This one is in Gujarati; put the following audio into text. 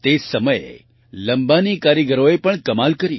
તે જ સમયે લમ્બાની કારીગરોએ પણ કમાલ કરી